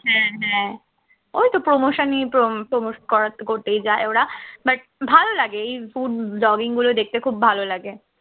হ্যাঁ হ্যাঁ ওই তো promotion ই তো promote করার করতেই যাই ওরা but ভালো লাগে এই food blogging গুলো দেখতে খুব ভালো লাগে